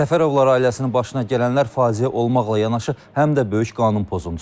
Səfərovlar ailəsinin başına gələnlər faciə olmaqla yanaşı həm də böyük qanun pozuntusudur.